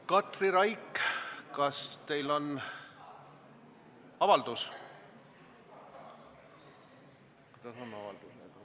Katri Raik, kas te soovite teha avalduse?